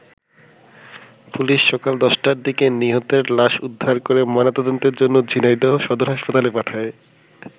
Police সকাল ১০টার দিকে নিহতের লাশ উদ্ধার করে ময়না তদন্তের জন্য ঝিনাইদহ সদর হাসপাতালে পাঠায়।